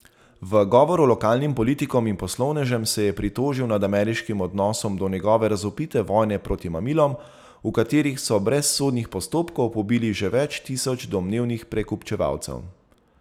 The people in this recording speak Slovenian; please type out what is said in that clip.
V govoru lokalnim politikom in poslovnežem se je pritožil nad ameriškim odnosom do njegove razvpite vojne proti mamilom, v kateri so brez sodnih postopkov pobili že več tisoč domnevnih prekupčevalcev.